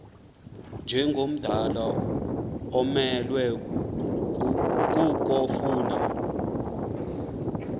njengomdala umelwe kukofuna